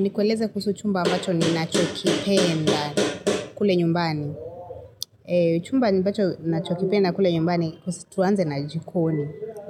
Nikweleze kuhusu chumba ambacho ni nacho kipenda kule nyumbani. Chumba ambacho nacho kipenda kule nyumbani kusu tuanze na